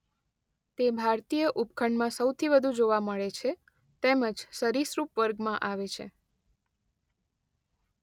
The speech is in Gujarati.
તે ભારતીય ઉપખંડમાં સોથી વધુ જોવા મળે છે તેમ જ સરિસૃપ વર્ગમાં આવે છે.